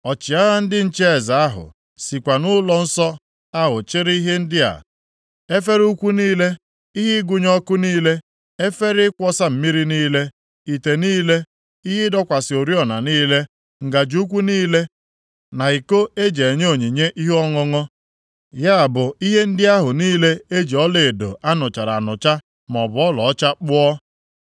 Ọchịagha ndị nche eze ahụ sikwa nʼụlọnsọ ahụ chịrị ihe ndị a: efere ukwu niile, ihe ịgụnye ọkụ niile, efere ịkwọsa mmiri niile, ite niile, ihe ịdọkwasị oriọna niile, ngaji ukwu niile na iko e ji enye onyinye ihe ọṅụṅụ, ya bụ ihe ndị ahụ niile e ji ọlaedo a nụchara anụcha maọbụ ọlaọcha kpụọ.